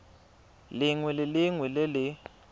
lengwe le lengwe le le